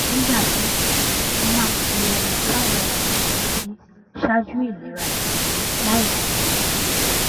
nígbà míì mo máa ń fi ohun táwọn ẹlòmíì ń retí ṣáájú ìlera tèmi láìmò